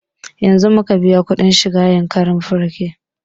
Yanzun muka biya kuɗin shiga yankari park